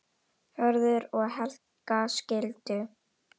Hörður og Helga skildu.